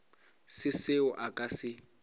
se seo a ka se